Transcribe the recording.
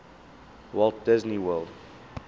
walt disney world